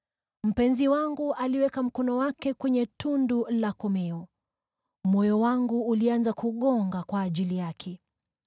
Mpenzi wangu aliweka mkono wake kwenye tundu la komeo; moyo wangu ulianza kugonga kwa ajili yake.